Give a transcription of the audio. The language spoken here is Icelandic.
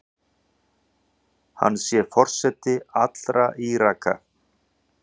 Hann sé forseti allra Íraka.